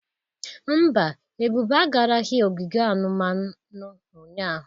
Mba, Ebube agaraghị ogige anumanu ụnyahụ.